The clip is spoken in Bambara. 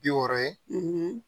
Bi wɔɔrɔ ye